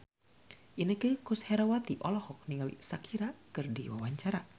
Inneke Koesherawati olohok ningali Shakira keur diwawancara